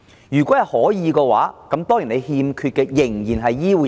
如果可以，我們欠缺的仍然是醫護人員。